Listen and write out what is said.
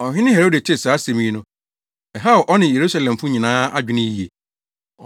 Ɔhene Herode tee saa asɛm yi no, ɛhaw ɔne Yerusalemfo nyinaa adwene yiye.